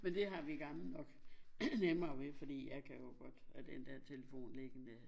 Med det har vi gamle nok nemmere ved fordi jeg kan jo godt lade den der telefon liggende